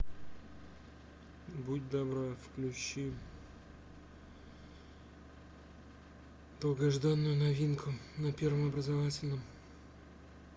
будь добра включи долгожданную новинку на первом образовательном